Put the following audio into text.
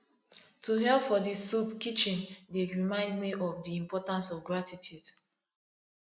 to help for di soup kitchen dey remind me of di importance of gratitude